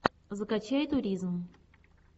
закачай туризм